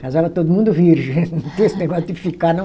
Casava todo mundo virgem, não tinha esse negócio de ficar, não.